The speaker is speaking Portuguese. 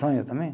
Sonho também.